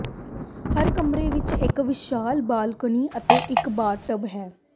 ਹਰ ਕਮਰੇ ਵਿੱਚ ਇੱਕ ਵਿਸ਼ਾਲ ਬਾਲਕੋਨੀ ਅਤੇ ਇੱਕ ਬਾਥਟਬ ਹੈ